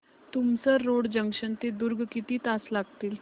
Tumsar road junction ते दुर्ग किती तास लागतील